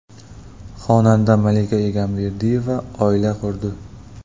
Xonanda Malika Egamberdiyeva oila qurdi.